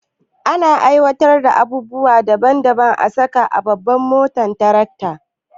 Ana aiwatar da abubuwa daban daban a saka a babban motar tarakta